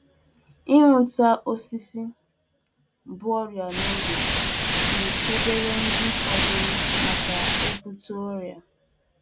Nhụta a hụtara ihe a kụrụ n'ubi ole um na ole bu ọrịa n'oge nyere aka gbochie ndi um ọzọ ibute ọrịa.